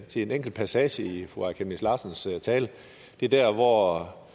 til en enkelt passage i fru aaja chemnitz larsens tale det er der hvor